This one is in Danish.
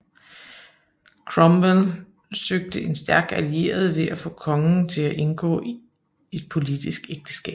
Cromwell søgte en stærk allieret ved at få kongen til at indgå et politisk ægteskab